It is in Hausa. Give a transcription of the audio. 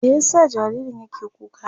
Me ya sa jaririn yake kuka?